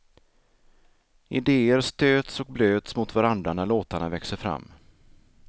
Ideér stöts och blöts mot varandra när låtarna växer fram.